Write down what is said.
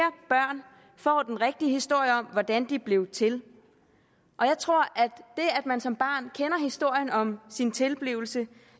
børn får den rigtige historie om hvordan de er blevet til og jeg tror at det at man som barn kender historien om sin tilblivelse